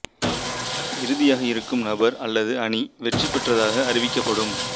இறுதியாக இருக்கும் நபர் அல்லது அணி வெற்றி பெற்றதாக அறிவிக்கப்படும்